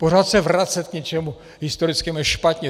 Pořád se vracet k něčemu historickému je špatně.